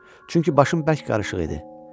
Çünki başım bərk qarışıq idi.